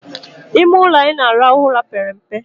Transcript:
Ime ụlọ anyị na-arahụ ụra pere mpe